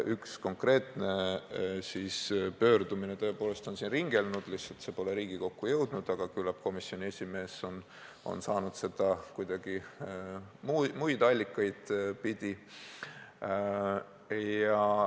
Üks konkreetne pöördumine on siin ringelnud, lihtsalt see pole Riigikokku jõudnud, aga küllap komisjoni esimees on saanud selle kuidagi muid allikaid pidi.